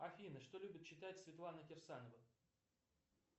афина что любит читать светлана кирсанова